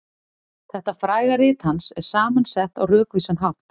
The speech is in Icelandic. Þetta fræga rit hans er saman sett á rökvísan hátt.